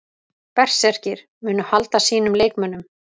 Berserkir: Munu halda sínum leikmönnum.